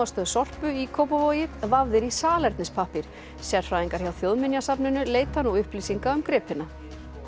gámastöð Sorpu í Kópavogi vafðir í salernispappír sérfræðingar hjá Þjóðminjasafninu leita nú upplýsinga um gripina